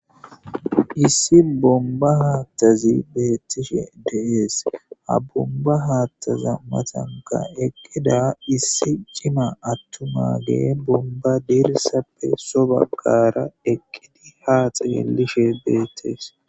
Issi bonba haththazi betishe des ha bonba haththaza matanka eqida issi cima atumma adde bonba delisa sobagara eqidi ha xelishe betes.